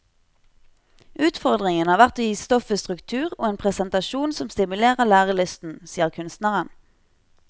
Utfordringen har vært å gi stoffet struktur og en presentasjon som stimulerer lærelysten, sier kunstneren.